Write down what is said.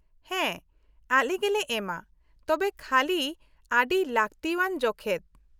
-ᱦᱮᱸ ᱟᱞᱮ ᱜᱮᱞᱮ ᱮᱢᱟ, ᱛᱚᱵᱮ ᱠᱷᱟᱹᱞᱤ ᱟᱹᱰᱤ ᱞᱟᱹᱠᱛᱤᱣᱟᱱ ᱡᱚᱠᱷᱮᱪ ᱾